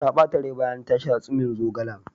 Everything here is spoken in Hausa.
Ta ɓata rai bayan ta sha tsumin zogalen.